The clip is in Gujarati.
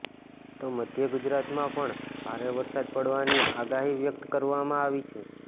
તો મધ્ય ગુજરાતમાં પણ ભારે વરસાદ પડવાની આગાહી વ્યક્ત કરવામાં આવી છે